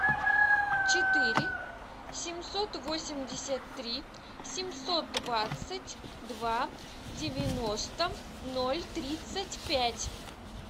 четыре семьсот восемьдесят три семьсот двадцать два девяносто ноль тридцать пять